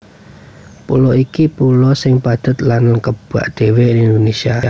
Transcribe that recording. Pulo iki pulo sing padhet lan kebak dhéwé ing Indonésia